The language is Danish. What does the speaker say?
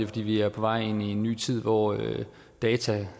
fordi vi er på vej ind i en ny tid hvor data